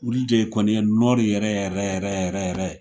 Olu de ye kɔni ye Nɔri yɛrɛ yɛrɛ yɛrɛ yɛrɛ